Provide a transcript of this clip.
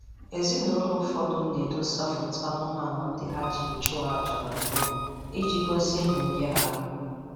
Ezinụlọ ụfọdụ na-edosa foto anụmanụ ndị ha jirila chụọ aja na mbụ iji gosi nhụnye ha